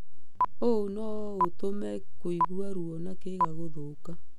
Ũũ no ũtũme kũigua ruo na kĩga gũthũka.